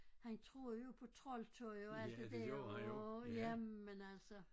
Han troede jo på troldtøj og alt det der åh jamen altså